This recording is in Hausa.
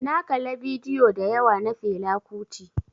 Na kala bidiyo dayawa na Fela kuti.